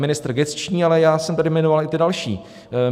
Ministr gesční, ale já jsem tady jmenoval i ty další.